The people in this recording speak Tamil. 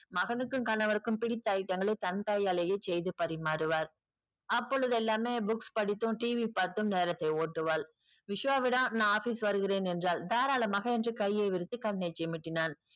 மகனுக்கும் கணவருக்கும் பிடித்த item கலையே தன் கையாலேயே செய்து பரிமாறுவாள் அப்போலுதெல்லமே books படித்தும் TV பாத்ததுமே நேரத்தை ஓட்டுவாள் விஷ்வாவிடம் நா office வருகிறேன் என்றால் தாராளமாக என்று கையை விரித்து கண்ணை சிமிட்டினான்